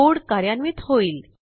code कार्यान्वित होईल